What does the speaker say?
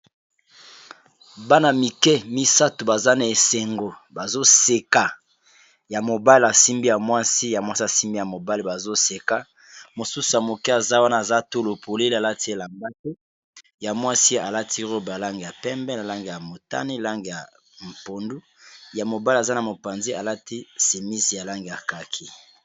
Bana mike misato baza na esengo bazoseka ya mobali y simbi ya mwasi ya mwasi asimbi ya mobale bazoseka mosusu ya moke aza wana aza tolo polele alati e lambale ya mwasie alati robe alange ya pembe, na lange ya motane, lange ya mpondu, ya mobali aza na mopanzi alati semisi ya lange ya kaki.